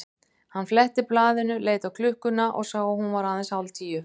Hann fletti blaðinu, leit á klukkuna og sá að hún var aðeins hálf tíu.